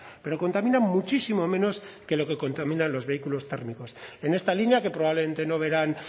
pero contaminan muchísimo menos que lo que contaminan los vehículos térmicos en esta línea que probablemente no verán